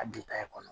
A bi kɔnɔ